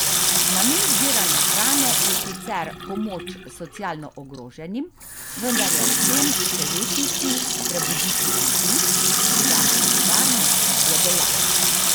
Namen zbiranja hrane je sicer pomoč socialno ogroženim, vendar je ob tem še večji cilj prebuditi ljudi za solidarnost, je dejala.